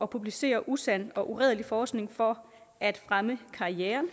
publicere usand og uredelig forskning for at fremme karrieren